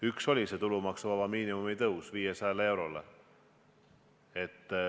Üks oli tulumaksuvaba miinimumi tõus 500 eurole.